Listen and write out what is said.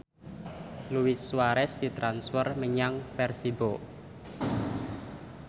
Luis Suarez ditransfer menyang Persibo